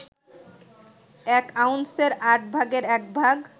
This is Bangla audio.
এক আউন্সের আট ভাগের একভাগ